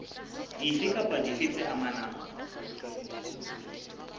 dife kapa dife tse amanang